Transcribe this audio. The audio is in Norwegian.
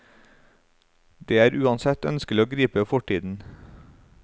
Det er uansett ønskelig å gripe fortiden.